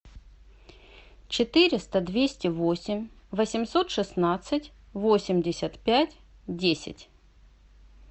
четыреста двести восемь восемьсот шестнадцать восемьдесят пять десять